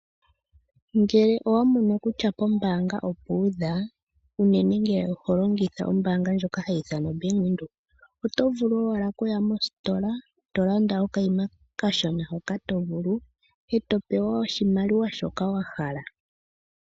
Ngele owa mono kutya pombaanga opu udha, unene ngele oho longitha ombanga ndjoka hayi ithanwa oBank Windhoek oto vulu owala oku ya mositola to landa okayima okashona hoka to vulu to pewa oshimaliwa shoka wa hala.